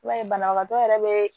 I b'a ye banabagatɔ yɛrɛ bɛ